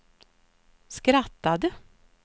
skrattade